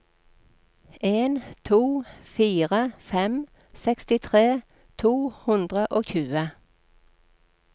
en to fire fem sekstitre to hundre og tjue